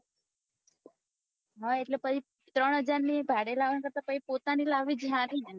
હ એટલે પછી ત્રણ હજાર ની એ ભાડે લાવો એના કરતા પોતાની લાવી જ સારી એમ